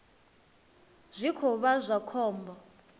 zwi khou vha zwa khombo